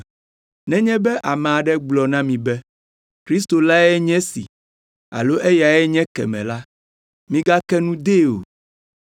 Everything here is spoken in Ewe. “Nenye be ame aɖe gblɔ na mi be, ‘Kristo lae nye esi alo eyae nye ekemɛ la,’ migake nu dee o